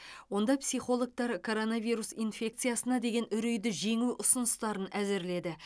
онда психологтар коронавирус инфекциясына деген үрейді жеңу ұсыныстарын әзірледі